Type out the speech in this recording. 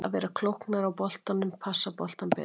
Að vera klókari á boltanum, passa boltann betur.